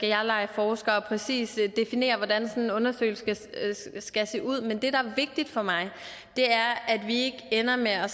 jeg lege forsker og præcist definere hvordan sådan en undersøgelse skal se ud men det der er vigtigt for mig er at vi ikke ender med at